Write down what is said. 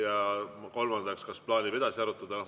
Ja kolmandaks, kas plaanime edasi arutada?